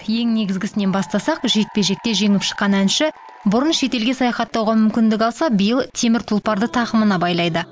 ең негізгісінен бастасақ жекпе жекте жеңіп шыққан әнші бұрын шетелге саяхаттауға мүмкіндік алса биыл темір тұлпарды тақымына байлайды